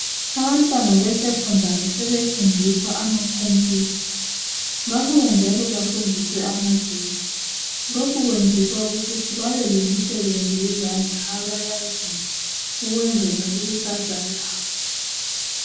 Abantwana be Secondary sebefundiswa amacomputer babuya njalo bafundiswe amagetsi lokhu kwenzelwa ukuthi babelemisebenzi yezandla abayaziyo ukwenzela ikusasa labo